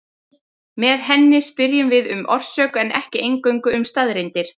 Með henni spyrjum við um orsök en ekki eingöngu um staðreyndir.